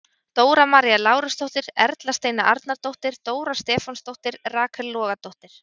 Dóra María Lárusdóttir- Erla Steina Arnardóttir- Dóra Stefánsdóttir- Rakel Logadóttir